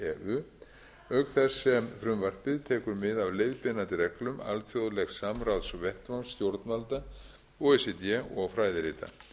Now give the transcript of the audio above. höfuðlénið auk þess sem frumvarpið tekur mið af leiðbeinandi reglum alþjóðlegs samráðsvettvangs stjórnvalda o e c d og fræðirita